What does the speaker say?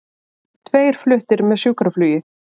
Tveir fluttir með sjúkraflugi